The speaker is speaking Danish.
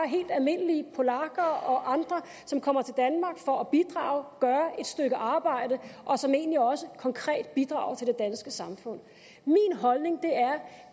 helt almindelige polakker og andre som kommer til danmark for at bidrage gøre et stykke arbejde og som egentlig også konkret bidrager til det danske samfund min holdning